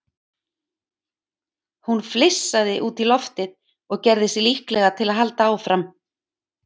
Hún flissaði út í loftið og gerði sig líklega til að halda áfram.